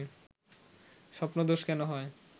স্বপ্নদোষ কেন হয়